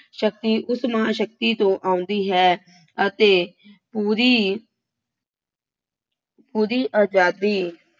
ਸ਼ਕਤੀ ਉਸ ਮਹਾਂਸ਼ਕਤੀ ਤੋਂ ਆਉਂਦੀ ਹੈ ਅਤੇ ਪੂਰੀ ਪੂਰੀ ਆਜ਼ਾਦੀ